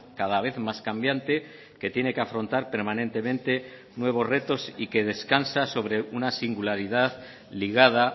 cada vez más cambiante que tiene que afrontar permanentemente nuevos retos y que descansa sobre una singularidad ligada